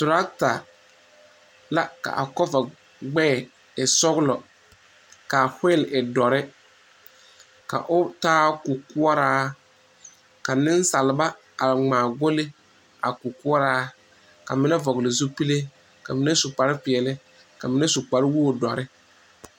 Trɔta la k,a kɔva gbɛɛ e sɔglɔ k,a weel e dɔre ka o taa kukoɔraa ka nensalba a ŋmaa golli a kukoɔraa ka mine vɔgle zupile ka mine su kparepeɛle ka mine su kparewogi dɔre.